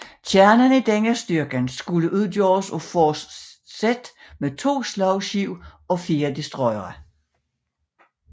Kernen i denne styrke skulle udgøres af Force Z med to slagskibe og fire destroyere